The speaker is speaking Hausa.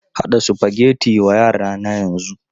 Haɗa Sufageti wa yara na yanzu!